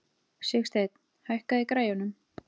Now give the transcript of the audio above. Sigsteinn, hækkaðu í græjunum.